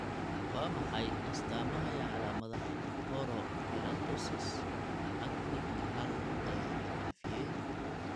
Waa maxay astamaha iyo calaamadaha Porokeratosis, actinic hal ee la faafiyey?